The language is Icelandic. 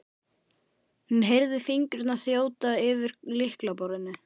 hún heyrði fingurna þjóta eftir lyklaborðinu.